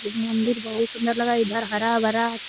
यह मंदिर बहुत सुंदर लगा इधर हरा भरा --